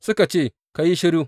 Suka ce, Ka yi shiru!